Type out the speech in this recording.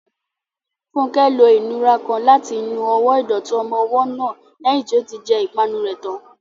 Funke lo ìnura kan láti nu ọwọ́ ìdọ̀tí ọmọ ọwọ́ náà lẹ́yìn tí ó ti jẹ ìpanu rẹ̀ tán.